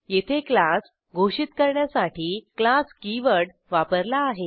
येथे क्लास घोषित करण्यासाठी क्लास कीवर्ड वापरला आहे